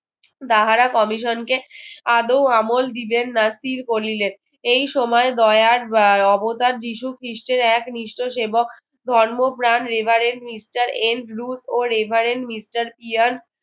তাহারা Commission কে আদো আমল দিবেন না করিলে এই সময় অবতার যীশু খ্ৰিষ্টের এক নিষ্ঠ সেবক ধর্মপ্রাণ reverend Mr N Bluse ও reverend Mr Pian